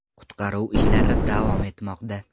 Qutqaruv ishlari davom etmoqda.